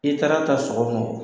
I taara ta sɔgɔma o,